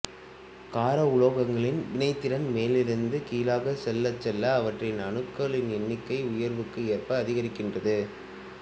கார உலோகங்களின் வினைத்திறன் மேலிருந்து கீழாகச் செல்லச்செல்ல அவற்றின் அணு எண்களில் உயர்வுக்கு ஏற்ப அதிகரிக்கின்றது